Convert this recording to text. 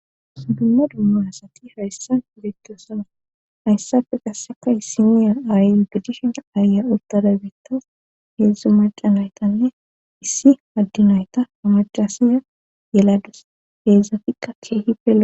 sudumma dumma asati hayssa beettasana hayssapfe qasseka simiya aayi gitishina aaya uttada beittas heedzdzu macanaytanne issi addinayta amacasiya yelados peedzafikka keehi pela